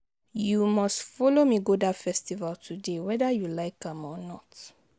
You must follow me go dat festival today whether you like am or not